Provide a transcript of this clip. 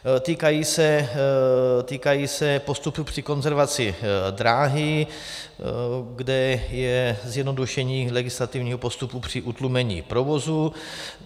Týkají se postupu při konzervaci dráhy, kde je zjednodušení legislativního postupu při utlumení provozu.